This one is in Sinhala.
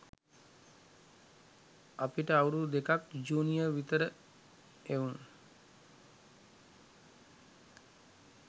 අපිට අවුරුදු දෙකක් ජූනියර් විතර එවුන්.